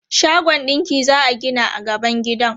Shagon ɗinki za a gina a gaban gidan.